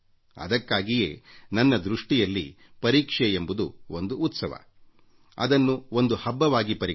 ಅದಕ್ಕಾಗಿಯೇ ನನ್ನ ದೃಷ್ಟಿಯಲ್ಲಿ ಪರೀಕ್ಷೆ ಎಂಬುದು ಒಂದು ಉತ್ಸವ ಅದನ್ನು ಒಂದು ಹಬ್ಬವಾಗಿ ಪರಿಗಣಿಸಿ